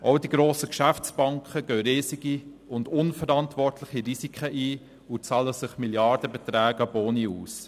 Auch die grossen Geschäftsbanken gehen riesige und unverantwortliche Risiken ein und zahlen sich Milliardenbeträge an Boni aus.